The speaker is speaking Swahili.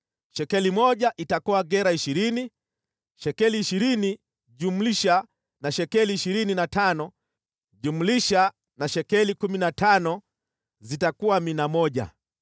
Shekeli moja itakuwa gera ishirini. Shekeli ishirini, jumlisha na shekeli ishirini na tano, jumlisha na shekeli kumi na tano zitakuwa mina moja.